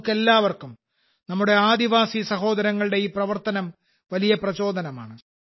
നമുക്കെല്ലാവർക്കും നമ്മുടെ ആദിവാസി സഹോദരങ്ങളുടെ ഈ പ്രവർത്തനം വലിയ പ്രചോദനമാണ്